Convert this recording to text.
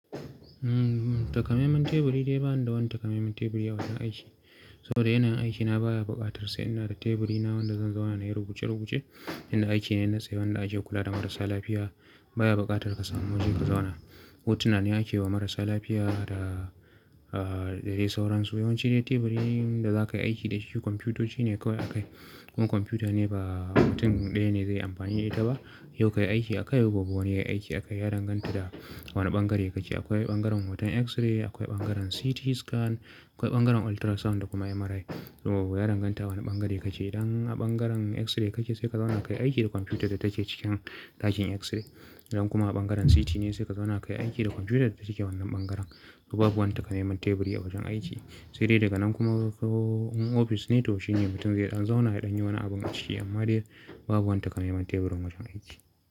Takamaiman teburi dai bani da wani takamaiman teburi a wajen aiki. Saboda yanayin aikina baya buƙatar sai inada teburina wanda zan zauna nayi rubuce-rubuce. Wannan aikine na tsaye wanda ake kula da marasa lafiya, baya buƙatar ka samu wajen ka zauna. Hotuna ne ake wa marasa lafiya da, da dai sauransu. Yawanci dai teburin da za ka yi aiki da shi komfiyutoci ne kawai a kai. Kuma computer ne ba mutum ɗaya ne zai amfani da ita ba. Yau kayi aiki akai, gobe wani yayi aiki akai. Ya danganta da wane ɓangare kake. Akwai ɓangaren hoton x-ray, akwai ɓangaren CT scan, akwai ɓangaren ultrasound da kuma MRI. To ya danganta wane ɓangare kake. Idan a ɓangaren x-ray kake sai ka zauna kayi aiki da computer da take cikin ɗakin x-ray. Idan kuma a ɓangaren CT ne sai ka zauna ka yi aiki da computer da take wannan ɓangaren. To babu wani takamaiman teburi a wajen aiki. Sai dai daga nan kuma ko in ofis ne to shi ne mutum zai ɗan zauna yaɗan yi wani abu dashi, amma dai babu wani takamaiman teburin wajen aiki.